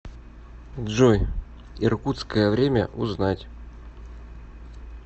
джой иркутское время узнать